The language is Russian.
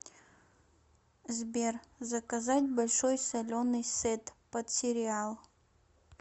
сбер заказать большой соленый сет под сериал